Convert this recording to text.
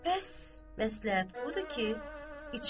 Bəs məsləhət budur ki, içim.